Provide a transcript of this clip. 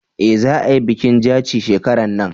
eh za a yi bikin jaci shekaran nan